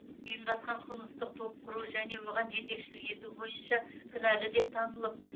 ұйымдасқан қылмыстық топ құру және оған жетекшілік ету бойынша кінәлі деп танылып